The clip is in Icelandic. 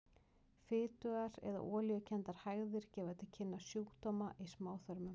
Fitugar eða olíukenndar hægðir gefa til kynna sjúkdóma í smáþörmum.